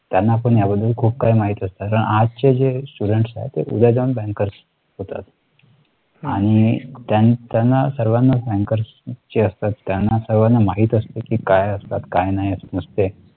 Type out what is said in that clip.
त्यांना आपण याबद्दल खूप काही माहीत असत आज चे जे students आहेत उद्या जाऊन bankers होतात . आणि त्यांना सर्वांना bankers ची असतात. त्यांना सर्वाना माहीत असते की काय असतात काही नाही असते